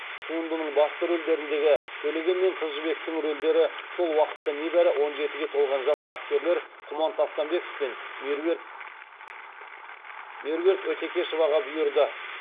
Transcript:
туындының басты рөлдеріндегі төлеген мен қыз жібектің рөлдері сол уақытта небәрі он жетіге толған жас актерлер құман тастанбеков пен меруерт өтекешоваға бұйырды